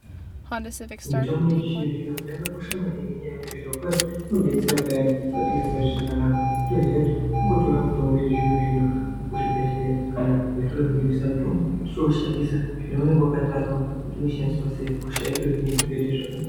Mitombo yechizvino-zvino yakakosha maningi ngenyaya yekuti zvirokwazvo inodetsera payani patinenge tisingazwi zvakanaka wotoziya kuti kungotora mutombo wechizvino-zvino kuzvibhedhleya kana kuzvitoro zvinotengese mitombo wotoushandisa zvaunenge wakatarwa kuti unoshandiswa sei hosha yotohinika zviite zvakanaka.